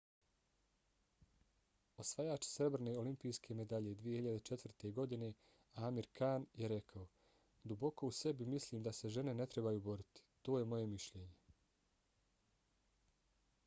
osvajač srebrne olimpijske medalje 2004. godine amir khan je rekao: duboko u sebi mislim da se žene ne trebaju boriti. to je moje mišljenje.